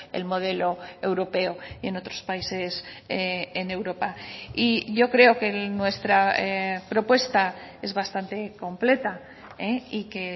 el modelo europeo y en otros países en europa y yo creo que en nuestra propuesta es bastante completa y que